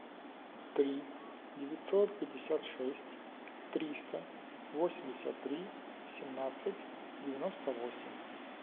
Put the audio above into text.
три девятьсот пятьдесят шесть триста восемьдесят три семнадцать девяносто восемь